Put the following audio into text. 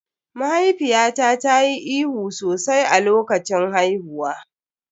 Mahaifiyata ta yi ihu sosai a lokacin haihuwa.